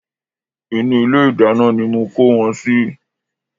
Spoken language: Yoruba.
Inú ilé ìdáná ni mo kó wọn sí